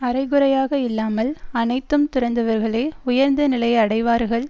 அரைகுறையாக இல்லாமல் அனைத்தும் துறந்தவர்களே உயர்ந்த நிலையை அடைவார்கள்